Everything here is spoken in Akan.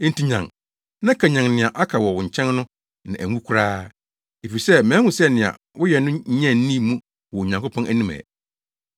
Enti nyan, na kanyan nea aka wɔ wo nkyɛn no na anwu koraa. Efisɛ mahu sɛ nea woayɛ no nnya nnii mu wɔ Onyankopɔn anim ɛ.